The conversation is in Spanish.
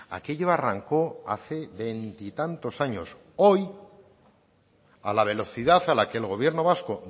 aquello arrancó hace veintitantos años hoy a la velocidad a la que el gobierno vasco